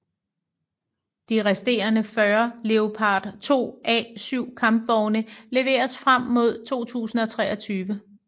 De resterende 40 Leopard 2A7 kampvogne leveres frem mod 2023